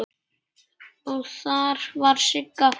Og þar var Sigga frænka.